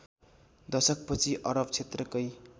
दशकपछि अरब क्षेत्रकै